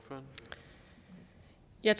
jeg